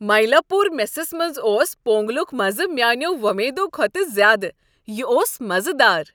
مایلاپور میسس منٛز اوس پونگلک مزٕ میانیو وۄمیدو کھۄتہٕ زیادٕ۔ یِہ اوس مزٕدار۔